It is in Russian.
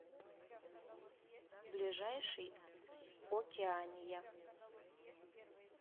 ближайший океания